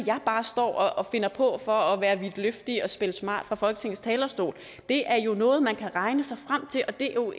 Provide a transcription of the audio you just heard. jeg bare står og finder på for at være vidtløftig og spille smart fra folketingets talerstol det er jo noget man kan regne sig frem til og det er jo